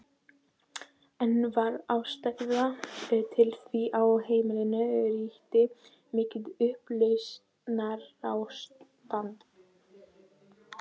Enn var ástæða til því á heimilinu ríkti mikið upplausnarástand.